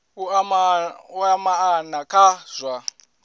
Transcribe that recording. u ea maana kha zwa